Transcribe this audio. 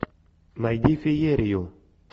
найди феерию